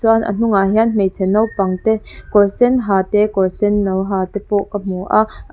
chuan a hnungah hian hmeichhe naupang te kawr sen ha te kawr senno ha te pawh ka hmu a an--